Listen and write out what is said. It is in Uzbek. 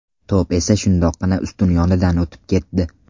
To‘p esa shundoqqina ustun yonidan o‘tib ketdi.